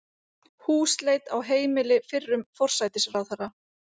Húsleit á heimili fyrrum forsætisráðherra